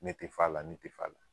Ne te f'a la ne te f'a la